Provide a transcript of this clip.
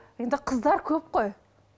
енді қыздар көп қой